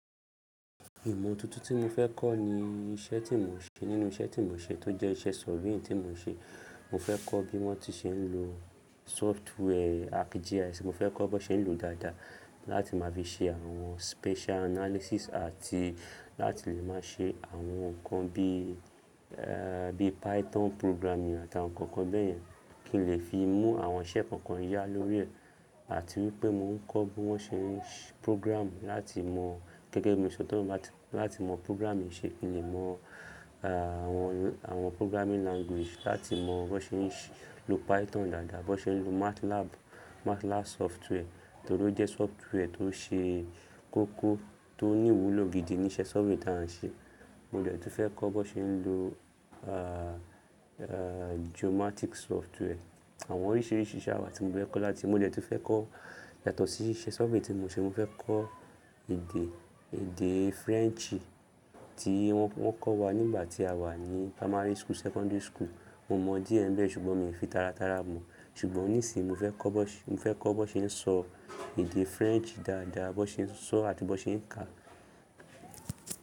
Ìmọ̀ tuntun tí mo fẹ́ kọ́ ni iṣẹ́ tí mò ń ṣe. Nínú iṣẹ́ tí mò ń ṣe tó jẹ́ iṣẹ́ surveying tí mò ń ṣe, mo fẹ́ kọ́ bí wọ́n ti ṣe ń lo software ArcGIS. Mo fẹ́ kọ́ bọ́ ṣe ń lòó dáadáa láti má fi ṣe àwọn spatial analysis àti láti lè má ṣe àwọn nǹkan bí, ẹ́ẹ́, bí Python programming àtàwọn nǹkan kan bẹ́ẹ̀ yẹn, kí n lè fi mú àwọn iṣẹ́ kọ̀ọ̀kan yá lórí ẹ̀. Àti wípé mò ń kọ́ bí wọ́n ṣe ń program láti mọ̀, gẹ́gẹ́ bí mo ṣe sọ, láti mọ̀ programming ṣe, kí n lè mọ̀ àwọn, àwọn programming language. Láti mọ̀ bí wọ́n ṣe ń lò Python dáadáa, bí wọ́n ṣe ń lò MATLAB, MATLAB software, torí ó jẹ́ software tó ṣe kókó, tó ní ìwúlò gidi ní iṣẹ́ surveying tí à ń ṣe. Mo dẹ̀ tún fẹ́ kọ́ bí wọ́n ṣe ń lò, ah, ah, geomatics software. Àwọn oríṣiríṣi iṣẹ́ àwa tí mo fẹ́ kọ́ láti, mo dẹ̀ tún fẹ́ kọ́ yàtọ̀ sí iṣẹ́ surveying tí mò ń ṣe. Mo fẹ́ kọ́ èdè, èdè French tí wọ́n kọ́ wa nígbà tí àwa ní primary school, secondary school. Mo mọ díẹ̀ nbẹ̀ ṣùgbọ́n mi ò fi tàràtàrà mọ̀. Ṣùgbọ́n nísìí mo fẹ́ kọ́ bí wọ́n-- mo fẹ́ kọ́ bí wọ́n ṣe ń sọ èdè French dáadáa, bí wọ́n ṣe ń sọọ́ àti bí wọ́n ṣe ń kàá.